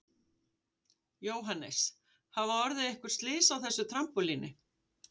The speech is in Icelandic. Jóhannes: Hafa orðið einhver slys á þessu trampólíni?